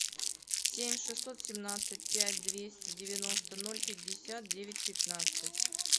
семь шестьсот семнадцать пять двести девяносто ноль пятьдесят девять пятнадцать